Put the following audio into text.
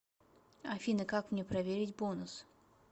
афина как мне проверить бонус